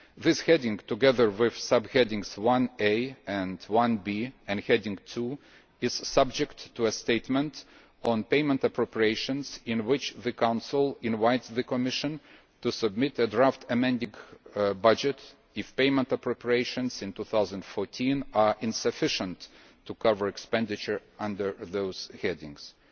This heading, together with Subheadings 1a and 1b and Heading 2, is subject to a statement on payment appropriations in which the Council invites the Commission to submit a draft amending budget if payment appropriations in 2014 are insufficient to cover expenditure under the headings